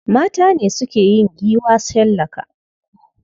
Mata ne suke yin giwa shallaka.